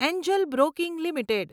Angel Broking limited